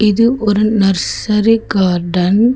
இது ஒரு nursery garden .